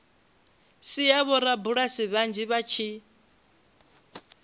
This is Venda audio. sia vhorabulasi vhanzhi vha tshi